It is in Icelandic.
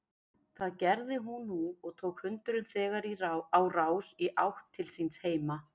Það gerði hún nú og tók hundurinn þegar á rás í átt til síns heima.